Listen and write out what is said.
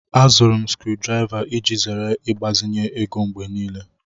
Azụrụ m sikruuokwomoto iji zere ịgbazinye ego mgbe niile